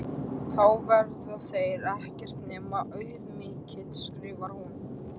Þá verða þeir ekkert nema auðmýktin, skrifar hún.